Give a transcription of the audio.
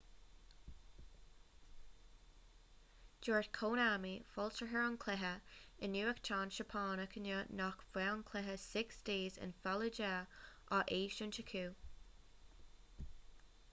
dúirt konami foilsitheoir an chluiche i nuachtán seapánach inniu nach mbeadh an cluiche six days in fallujah á eisiúint acu